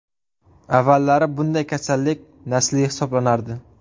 Avvallari bunday kasallik nasliy hisoblanardi.